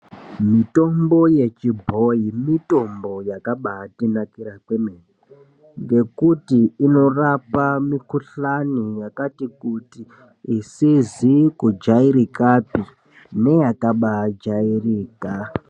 Mitombo yechibhoi, mitombo yakabatinakira, ngekuti inorapa mikhuhlani yakati kuti, isizi kujairika neyakaba ajairika.